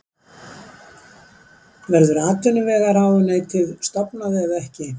Verður atvinnuvegaráðuneytið stofnað eða ekki?